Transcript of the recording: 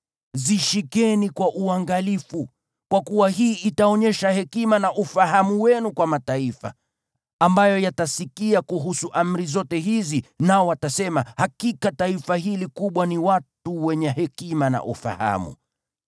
Zishikeni kwa uangalifu, kwa kuwa hii itaonyesha hekima na ufahamu wenu kwa mataifa, ambayo yatasikia kuhusu amri zote hizi, nao watasema, “Hakika taifa hili kubwa ni watu wenye hekima na ufahamu.”